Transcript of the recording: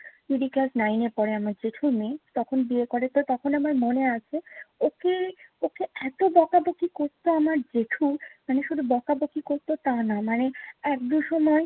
দিদি class nine এ পড়ে। আমার জেঠুর মেয়ে। তখন বিয়ে করে। তো তখন আমার মনে আছে, ওকে ওকে এতো বকাবকি করতো আমার জেঠু, মানে শুধু বকাবকি করতো তা না। মানে এক দু’সময়